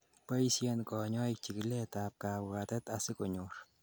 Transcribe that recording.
boishen konyoik chikilet ab kabwatet asikonyor